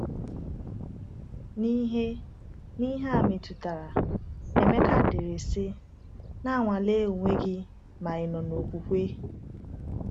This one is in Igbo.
N’ihe N’ihe a metụtara, Emeka dere sị: “Na-anwale onwe gị ma ị nọ n’okwukwe.”